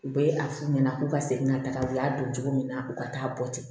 U bɛ a f'u ɲɛna k'u ka segin ka taga u y'a don cogo min na u ka taa bɔ ten